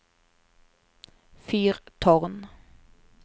fyrtårn